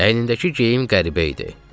Əynindəki geyim qəribə idi.